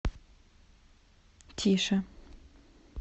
тише